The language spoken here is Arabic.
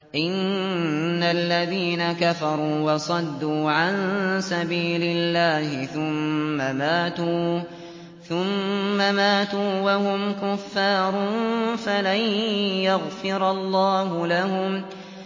إِنَّ الَّذِينَ كَفَرُوا وَصَدُّوا عَن سَبِيلِ اللَّهِ ثُمَّ مَاتُوا وَهُمْ كُفَّارٌ فَلَن يَغْفِرَ اللَّهُ لَهُمْ